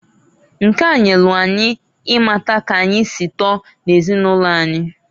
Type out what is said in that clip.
Nke a nyelu anyị ịmata k'anyi si tọọ n'ezinụlọ anyi.